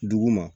Dugu ma